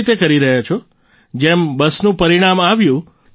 કેવી રીતે કરી રહ્યા છો જેમ બસનું પરિણામ આવ્યું